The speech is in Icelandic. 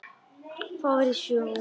Fór í sjó.